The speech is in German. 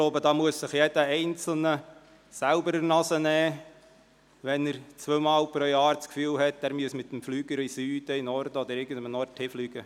Es muss sich jeder einzelne an die eigene Nase fassen, wenn er das Gefühl hat, er müsse zweimal pro Jahr mit dem Flieger in den Süden, in den Norden oder sonst wo hinfliegen.